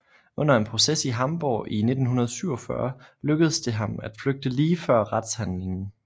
Under en proces i Hamborg i 1947 lykkedes det ham at flygte lige før retshandlingen